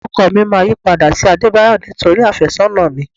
Orúkọ mi máa yípadà sí Adebayo nítorí afésónà mi.